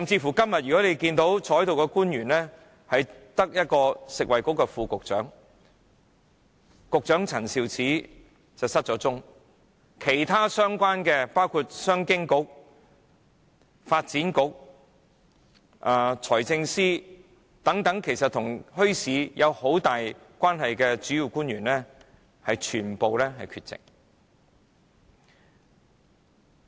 大家看一看今天在席的官員，只有食物及衞生局副局長，局長陳肇始不見人影，其他相關政策局的局長及財政司等跟墟市發展息息相關的主要官員全部缺席。